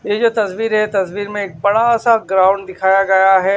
ये जो तस्वीर है तस्वीर में बड़ा सा ग्राउंड दिखाया गया है।